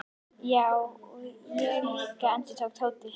Já, og ég líka endurtók Tóti.